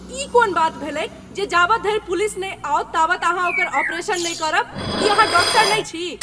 ई कोन बात भेलैक जे जाबत धरि पुलिस नहि आओत ताबत अहाँ ओकर ऑपरेशन नहि करब? की अहाँ डाक्टर नहि छी?